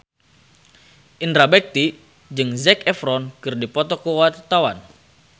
Indra Bekti jeung Zac Efron keur dipoto ku wartawan